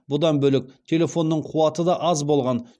бұдан бөлек телефонының қуаты да аз болған